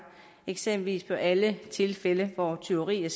eksempelvis bør alle tilfælde hvor tyveri er